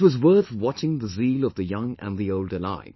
It was worth watching the zeal of the young and old alike